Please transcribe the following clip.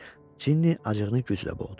Cini acığını güclə boğdu.